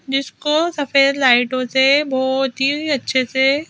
जिसको सफेद लाइटों से बहोत ही अच्छे से--